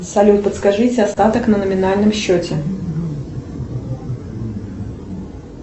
салют подскажите остаток на номинальном счете